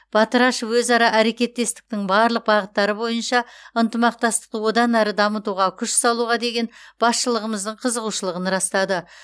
батырашев өзара әрекеттестіктің барлық бағыттары бойынша ынтымақтастықты одан әрі дамытуға күш салуға деген басшылығымыздың қызығушылығын растады